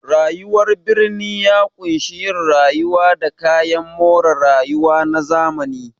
Rayuwar birni ya ƙunshi yin rayuwa da kayan more rayuwa na zamani.